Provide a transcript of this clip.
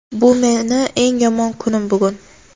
"Bu meni eng yomon kunim, bugun."